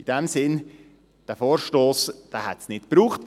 In diesem Sinn: Diesen Vorstoss hätte es nicht gebraucht.